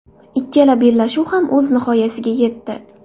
Ikkala bellashuv ham o‘z nihoyasiga yetdi.